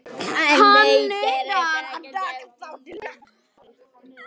Hann neitar að taka þátt í leiknum.